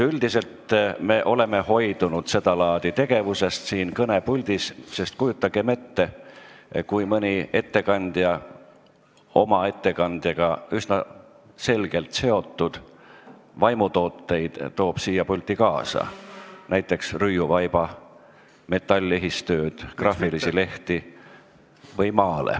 Üldiselt me oleme seda laadi tegevusest siin kõnepuldis hoidunud, sest kujutagem ette, et mõni ettekandja võtab siia pulti kaasa oma ettekandega üsna selgelt seotud selliseid vaimutooteid nagu rüiuvaip, metallehistöö, graafilised lehed või maalid.